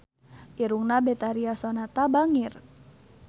Irungna Betharia Sonata bangir